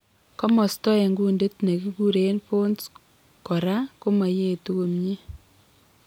Komosto eng' kundit nekikureen pons kora komoyeetu komyee